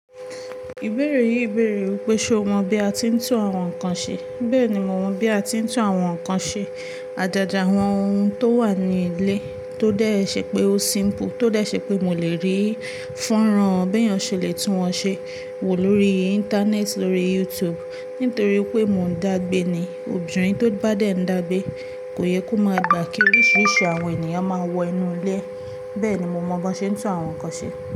Ìbéèrè yìí bèèrè wípé ṣé o mọ bí a tí ń tún àwọn nǹkan ṣe? Bẹ́ẹ̀ni, mo mọ bí a tí ń tún àwọn nǹkan ṣe. Ajaja àwọn ohun tó wà ní ilé tó dẹ ṣe pé ó simple, tó dé ṣe pé mo lè rí fọ́nrán bí èèyàn ṣe lè tún wọn ṣe wò lórí Íńtánẹ́ẹ̀tì, lórí YouTube. Nítorí pé mò ń dàgbé ni. Obinrin tó bá dẹ ń dàgbé kò yẹ kó máa gbà kí oríṣiríṣi àwọn ènìyàn máa wọ inú ilé rẹ. Bẹ́ẹ̀ ni mo mọ bí wọ́n ṣe ń tún àwọn nǹkan ṣe.